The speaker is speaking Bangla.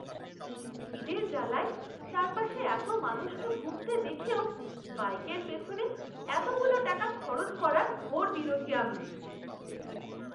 খিদের জালায় চারপাশের এতো মানুষকে ভুগতে দেখেও বাইকের পিছনে এতগুলো টাকা খরচ করার ঘোর বিরোধী আমি!